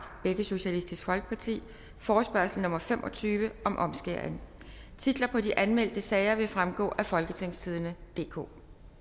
forespørgsel nummer f fem og tyve titlerne på de anmeldte sager vil fremgå af folketingstidende DK